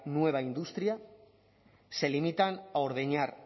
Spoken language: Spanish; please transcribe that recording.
nueva industria se limitan a